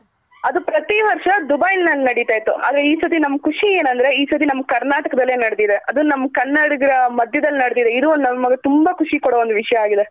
ಅದು ಪ್ರತಿ ವರ್ಷ ದುಬೈನಲ್ ನಡಿತಿತ್ತು ಆದ್ರೆ ಈ ಸತಿ ನಮ್ ಖುಷಿ ಏನಂದ್ರೆ ಈ ಸರಿ ನಮ್ ಕರ್ನಾಟಕದಲ್ಲೆ ನಡೆದಿದೆ ಅದು ನಮ್ ಕನ್ನಡಿಗರ ಮದ್ಯದಲ್ ನಡೆದಿದೆ ಇದು ನಮ್ಗ್ ತುಂಬಾ ಖುಷಿ ಕೊಡೊ ಒಂದ್ ವಿಷ್ಯ ಆಗಿದೆ.